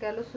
ਕਹਿ ਲੋ ਕ